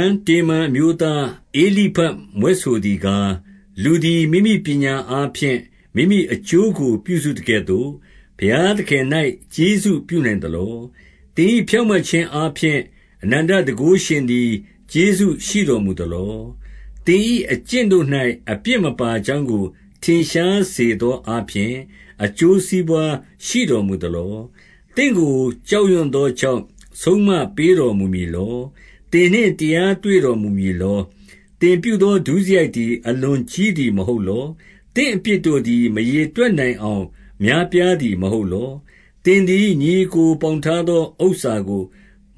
န် တေမန်အမျိုးသား ဧလိဖတ်မြွက်ဆိုသည် ကား၊ 2 လူသည် မိမိပညာအားဖြင့် မိမိအကျိုးကို ပြုစုသကဲ့သို့ ဘုရားသခင်၌ ကျေးဇူးပြုနိုင်သလော။ 3 သင်၏ဖြောင့်မတ်ခြင်းအားဖြင့်၊ အနန္တတန်ခိုး ရှင်သည် ကျေးဇူးရှိတော်မူသလော။ သင်၏အကျင့်၌ အပြစ်မပါကြောင်းကို ထင်ရှားစေသောအားဖြင့် အကျိုး စီးပွါးရှိတော်မူသလော။ 4 သင့်ကိုကြောက်ရွံ့သောကြောင့် ဆုံးမပေးတော် မူမည်လော။ သင်နှင့်တရားတွေ့တော်မူမည်လော။ 5 သင်ပြုသော ဒုစရိုက်သည် အလွန်ကြီးသည် မဟုတ်လော။ သင့်အပြစ်တို့သည် မရေတွက်နိုင်အောင် များပြားသည်မဟုတ်လော။ 6 သင်သည်ညီအစ်ကိုပေါင်ထားသော ဥစ္စာကို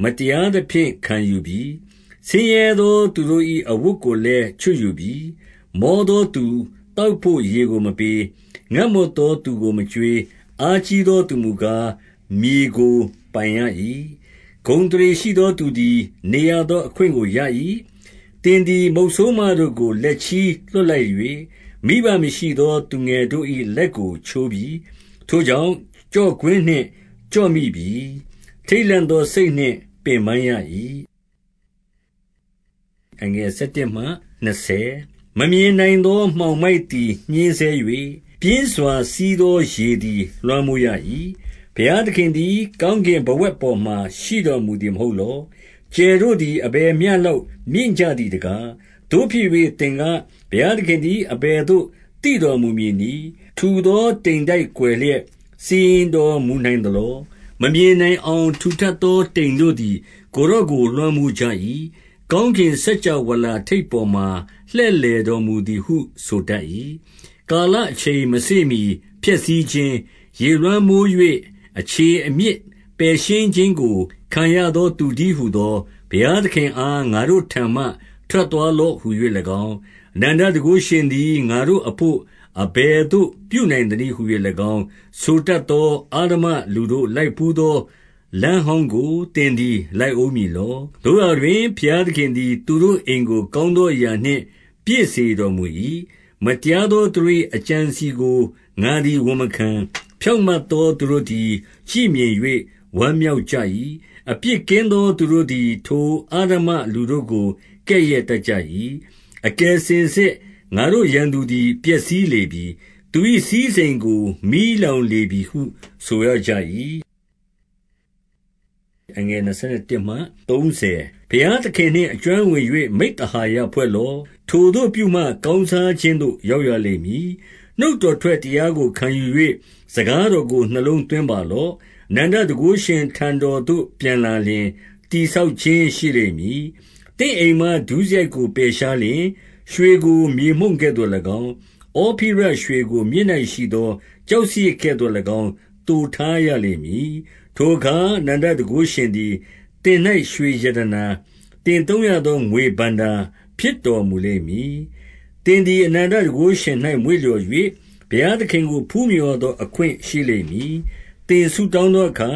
မတရားသဖြင့် ခံယူပြီ။ ဆင်းရဲသောသူတို့၏ အဝတ်ကို လည်း ချွတ်ယူပြီ။ 7 မောသောသူသောက်ဘို့ ရေကိုမပေး။ ငတ်မွတ်သောသူကိုမကျွေး။ 8 အားကြီးသောသူမူကားမြေကို ပိုင်ရ၏။ ဂုဏ်အသရေရှိသော သူသည် နေရသောအခွင့်ကိုရ၏။ 9 သင်သည် မုတ်ဆိုးမတို့ကို လက်ချည်းလွှတ်လိုက်၍၊ မိဘမရှိသော သူငယ်တို့၏လက်ကိုချိုးပြီ။ 10 ထိုကြောင့် ကျော့ကွင်းနှင့် ကျော့မိပြီ၊ ထိတ်လန့်သောစိတ်နှင့် ပင်ပန်းရ၏။ 11 မမြင်နိုင်သောမှောင်မိုက်သည် ညှဉ်းဆဲ၍၊ ပြင်းစွာစီးသောရေသည် လွှမ်းမိုးရ၏။ 12 ဘုရားသခင်သည် ကောင်းကင်ဘဝဂ်ပေါ်မှာ ရှိတော်မူသည်မဟုတ်လော။ ကြယ်တို့သည် အဘယ်မျှ လောက်မြင့်ကြသည်တကား။ 13 သို့ဖြစ်၍သင်က၊ ဘုရားသခင်သည် အဘယ်သို့ သိတော်မူမည်နည်း။ ထူသောတိမ်တိုက်ကွယ်လျက်နှင့် စီရင်တော်မူနိုင်မည်လော။ 14 မမြင်နိုင်အောင် ထူထပ်သောတိမ်တို့သည် ကိုယ်တော်ကို လွှမ်းမိုးကြ၏။ ကောင်းကင်စကြဝဠာ ထိပ်ပေါ်မှာ လှည့်လည်တော်မူသည်ဟု ဆိုတတ်၏။ 15 ကာလအချိန်မစေ့မှီ ဖျက်ဆီးခြင်း၊ ရေလွှမ်းမိုး၍၊ 16 အခြေအမြစ်ပယ်ရှင်းခြင်းကို ခံရသောသူတည်းဟူသော ဘုရားသခင်အား ငါတို့ထံမှ ထွက်သွားလော့ဟူ ၍၎င်း၊ အနန္တတန်ခိုးရှင်သည် ငါ့တို့အဘို့အဘယ်သို့ ပြုနိုင်သနည်းဟူ၍၎င်း၊ 17 ဆိုတတ်သော အဓမ္မ လူတို့လိုက်ဘူး သောလမ်းဟောင်းကို သင်သည်လိုက်ဦးမည်လော။ 18 သို့ရာတွင် ဘုရားသခင်သည် သူတို့အိမ်ကို ကောင်းသောအရာနှင့် ပြည့်စေတော်မူ၏။ မတရားသော သူတို့၏ အကြံအစည်ကို ငါသည် ဝန်မခံ။ 19 ဖြောင့်မတ်သောသူတို့သည် ကြည့်မြင်၍ ဝမ်းမြောက်ကြ၏။ အပြစ်ကင်းသောသူတို့သည် ထိုအဓမ္မလူ တို့ကို ကဲ့ရဲ့တတ်ကြ၏။ 20 အကယ်စင်စစ်ငါတို့ရန်သူသည် ပျက်စီးလေပြီ။ သူ၏စည်းစိမ်ကို မီးလောင်လေပြီဟု ဆိုရကြ၏။ 21 ဘုရားသခင်နှင့် အကျွမ်းဝင်၍ မိဿဟာယဖွဲ့လော့။ ထိုသို့ပြုမှ ကောင်းစားခြင်းသို့ ရောက်ရလိမ့်မည်။ 22 နှုတ်တော်ထွက်တရားကို ခံယူ၍ စကားတော်ကို နှလုံး၌သွင်းပါလော့။ 23 အနန္တတန်ခိုးရှင်ထံတော်သို့ ပြန်လာလျှင်၊ တည်ဆောက်ခြင်းရှိလိမ့်မည်။ သင့်အိမ်မှဒုစရိုက်ကို ပယ်ရှား လျှင်၊ 24 ရွှေကိုမြေမှုန့်ကဲ့သို့၎င်း၊ ဩဖိရရွှေကို မြစ်၌ ရှိသောကျောက်စရစ် ကဲ့သို့၎င်းသိုထားရလိမ့်မည်။ 25 ထိုအခါအနန္တတန်ခိုးရှင်သည် သင်၌ရွှေရတနာ၊ သင်သုံးရသော ငွေဘဏ္ဍာဖြစ်တော်မူလိမ့်မည်။ 26 သင်သည်အနန္တတန်ခိုးရှင်၌ မွေ့လျော်၍၊ ဘုရားသခင်ကို ဖူးမြော်ရသောအခွင့်ရှိလိမ့်မည်။ 27 သင်ဆုတောင်းသောအခါ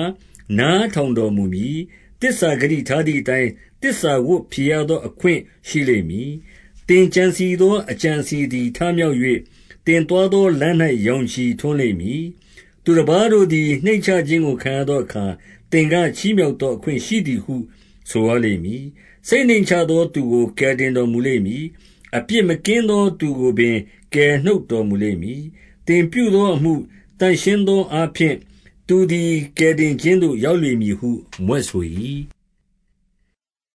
နားထောင်တော်မူ မည်။ သစ္စာဂတိထားသည်အတိုင်း၊ သစ္စာဝတ်ဖြေရသော အခွင့်ရှိလိမ့်မည်။ 28 သင်ကြံစည်သောအကြံအစည်သည် ထမြောက် ၍၊ သင်သွားသောလမ်း၌ ရောင်ခြည်ထွန်းလိမ့်မည်။ 29 သူတပါးတို့သည် နှိမ့်ချခြင်းကိုခံရသောအခါ၊ သင်ကချီးမြှောက်သောအခွင့်ရှိသည်ဟု ဆိုရလိမ့်မည်။ စိတ်နှိမ့်ချသောသူကို ကယ်တင်တော်မူလိမ့်မည်။ 30 အပြစ်မကင်းသောသူကိုပင် ကယ်နှုတ်တော်မူလိမ့်မည်။ သင်ပြုသောအမှု သန့်ရှင်းသောအားဖြင့် သူသည်ကယ်တင်ခြင်းသို့ ရောက်လိမ့်မည်ဟုမြွက်ဆို၏။